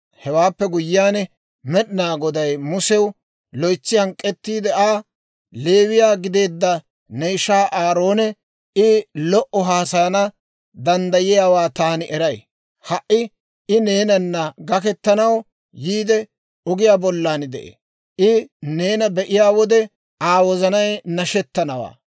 Hewaappe guyyiyaan Med'inaa Goday Musew loytsi hank'k'ettiide Aa, «Leewiyaa gideedda ne ishaa Aaroonee? I lo"o haasayana danddayiyaawaa taani eray; ha"i I neenana gaketanaw yiidde ogiyaa bollan de'ee; I neena be'iyaa wode Aa wozanay nashettanawaa.